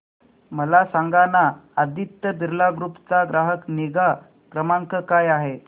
मला सांगाना आदित्य बिर्ला ग्रुप चा ग्राहक निगा क्रमांक काय आहे